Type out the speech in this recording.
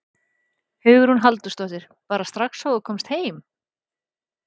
Hugrún Halldórsdóttir: Bara strax og þú komst heim?